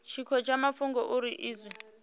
tshiko tsha mafhungo uri izwi